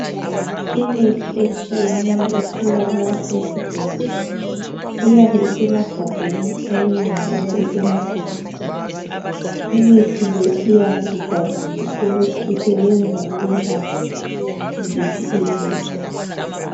Imithi etshiyeneyo etholakala esibhedlela, iyabe isemagambeni, iminye njalo isemabhokisini. Imithi le iyabe ibhaliwe ukuthi isebenza ukwelapha ziphi izifo.